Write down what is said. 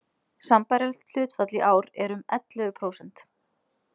Sambærilegt hlutfall í ár er um ellefu prósent.